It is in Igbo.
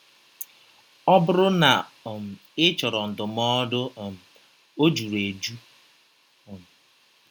Ọ bụrụ na um ị chọrọ ndụmọdụ um, ọ jụrụ ejụ. um